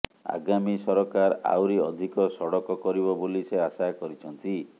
ଆଗାମୀ ସରକାର ଆହୁରି ଅଧିକ ସଡକ କରିବ ବୋଲି ସେ ଆଶା କରିଛନ୍ତି